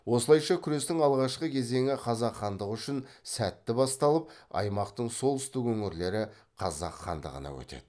осылайша күрестің алғашқы кезеңі қазақ хандығы үшін сәтті басталып аймақтың солтүстік өңірлері қазақ хандығына өтеді